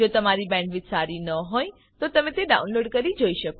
જો તમારી પાસે સારી બેન્ડવિડ્થ ન હોય તો તમે ડાઉનલોડ કરી તે જોઈ શકો છો